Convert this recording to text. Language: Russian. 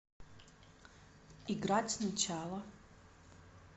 играть сначала